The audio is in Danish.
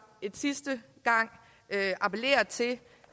en sidste gang appellere til